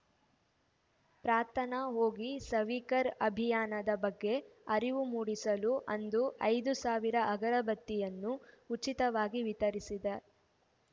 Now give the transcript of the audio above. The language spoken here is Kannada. ಪ್ರಾರ್ಥನಾ ಹೋಗಿ ಸವೀಕರ್ ಅಭಿಯಾನದ ಬಗ್ಗೆ ಅರಿವು ಮೂಡಿಸಲು ಅಂದು ಐದು ಸಾವಿರ ಅಗರ ಬತ್ತಿಯನ್ನು ಉಚಿತವಾಗಿ ವಿತರಿಸಿದೆ